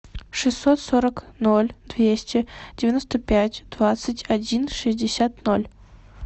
шестьсот сорок ноль двести девяносто пять двадцать один шестьдесят ноль